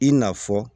I n'a fɔ